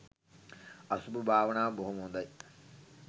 අසුභ භාවනාව බොහොම හොඳයි